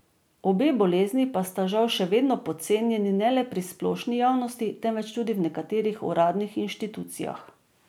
Obe bolezni pa sta žal še vedno podcenjeni ne le pri splošni javnosti, temveč tudi v nekaterih uradnih inštitucijah.